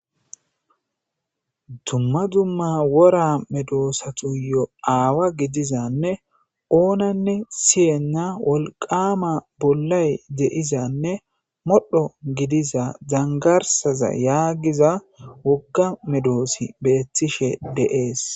Dumma dumma wora medoosatuyo aawa gidizanne oonanne siyenna wolqama bollay deizanne modho gidiza zangarsaza yaagiza wogga medoosi beettishe dees.